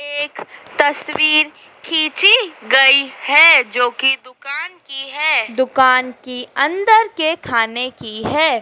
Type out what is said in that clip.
एक तस्वीर खींची गई है जो की दुकान की है दुकान की अंदर के खाने की है।